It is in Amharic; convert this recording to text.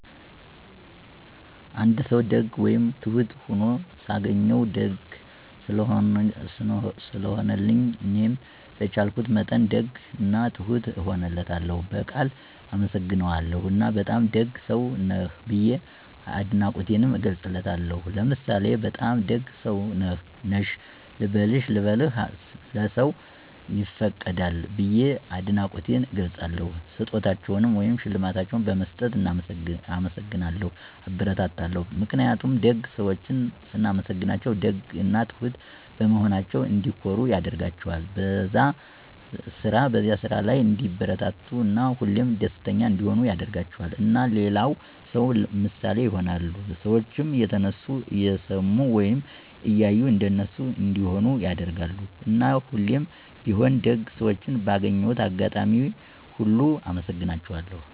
አንድ ሰዉ ደግ ወይም ትሁት ሁኖ ሳገኘዉ፤ ደግ ስለሆነልኝ እኔም በቻልኩት መጠን ደግ እና ትሁት እሆንለታለሁ፣ በቃል አመሰግነዋለሁ እና በጣም ደግ ሰዉ ነህ ብዬ አድናቆቴንም እገልፅለታለሁ። ለምሳሌ "በጣም ደግ ሰዉ ነህ/ሽ፤ ልብህ/ሽ ለሰዉ ይፈቅዳል።" ብየ አድናቆቴን እገልፃለሁ። ስጦታዎችን ወይም ሽልማቶችን በመስጠት እናመሰግናለሁ (አበረታታለሁ) ። ምክንያቱም ደግ ሰዎችን ስናመሰግናቸዉ ደግ እና ትሁት በመሆናቸዉ እንዲኮሩ ያደርጋቸዋል፣ በዛ ስራ ላይ እንዲበረታቱ እና ሁሌም ደስተኛ እንዲሆኑ ያደርጋቸዋል። እና ለሌላ ሰዉ ምሳሌ ይሆናሉ። ሰዎችም የነሱን እየሰሙ ወይም እያዩ እንደነሱ እንዲሆኑ (ያደርጋሉ)። እና ሁሌም ቢሆን ደግ ሰዎችን ባገኘሁት አጋጣሚ ሁሉ አመሰግናቸዋለሁ።